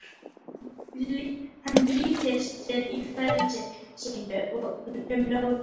Hann bylti sér í fleti sínu um nóttina.